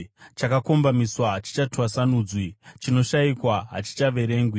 Chakakombamiswa hachingatwasanudzwi; chinoshayikwa hachingaverengwi.